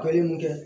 mun kɛ